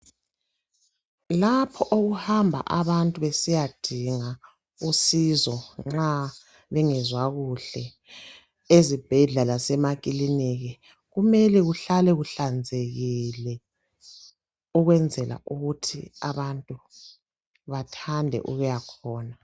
Lapho okuhamba abantu besiyadinga usizo nxa bengezwa kuhle, ezibhedlela lasemakilinika kumele kuhlale kuhlanzekile ukwenzela ukuthi abantu bathande ukuyakhona.